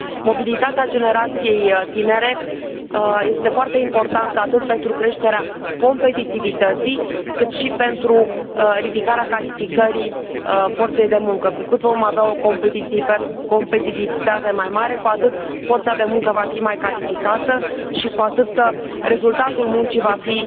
Mobilitatea generației tinere este foarte importantă atât pentru creșterea competitivității, cât și pentru ridicarea calificării forței de muncă, cu cât vom avea o competitivitate mai mare, cu atât forța de muncă va fi mai calificată și cu atât rezultatul muncii va fi